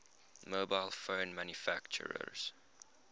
mobile phone manufacturers